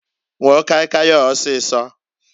Nwụọ kai kai a ọsịsọǃ